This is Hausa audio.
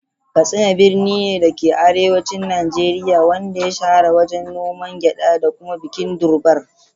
Katsina birni ne, da ke arewacin Najeriya, wanda ya shahara wajen noman gyada da kuma bikin Durbar.